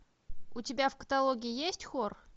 у тебя в каталоге есть хор